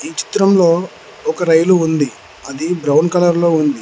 ఈ చిత్రంలో ఒక రైలు ఉంది అది బ్రౌన్ కలర్ లో ఉంది.